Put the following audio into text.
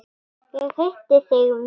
Ég hitti þig víst!